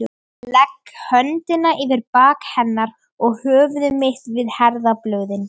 Legg höndina yfir bak hennar og höfuð mitt við herðablöðin.